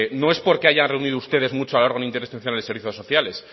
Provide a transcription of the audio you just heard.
no es porque hayan reunido ustedes mucho al órgano institucional de servicios sociales